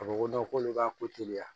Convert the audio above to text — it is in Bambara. A ko ko k'olu b'a ko teliya